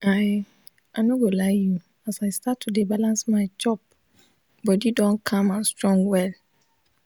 i i no go lie you as i start to dey balance my chop bodi don calm and strong well."